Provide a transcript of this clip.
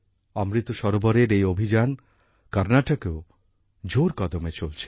অমৃত সরোবরের এই অভিযান কর্নাটকেও জোর কদমে চলছে